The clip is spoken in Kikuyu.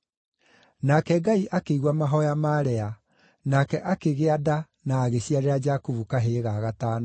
Nake Ngai akĩigua mahooya ma Lea, nake akĩgĩa nda na agĩciarĩra Jakubu kahĩĩ ga gatano.